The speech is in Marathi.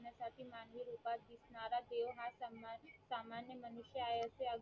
कृष्णाला देव हा सन्मान सामान्य मनुष्य आहे असे अज्ञान